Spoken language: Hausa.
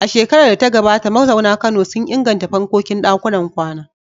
A shekarar da ta gabata, mazauna Kano sun inganta fankokin ɗakunan kwana.